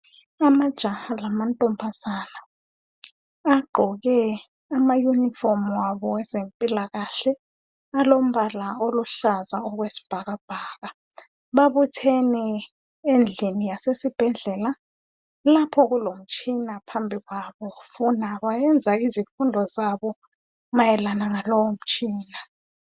Amajaha lamantombazane agqoke ama unifomu abo awezempilakahle alombala oluhlaza okwesibhakabhaka babuthene endlini yezibhedlela lapho kulomtshina phambi kwabo funa bayenza izikhundlo zabo ngaloyo mtshina